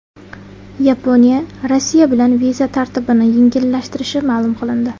Yaponiya Rossiya bilan viza tartibini yengillashtirishi ma’lum qilindi.